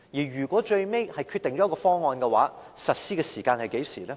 如果最後訂定出一個方案，實施時間是何時呢？